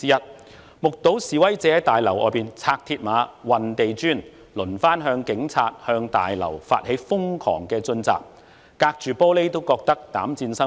我們目睹示威者在大樓外拆鐵馬、運地磚，繼而向警隊及立法會大樓發起瘋狂進襲，我們隔着玻璃窗都覺得膽顫心驚。